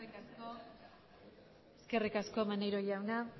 eskerrik asko maneiro jauna